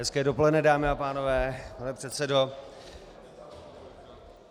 Hezké dopoledne, dámy a pánové, pane předsedo.